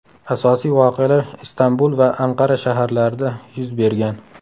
Asosiy voqealar Istanbul va Anqara shaharlarida yuz bergan.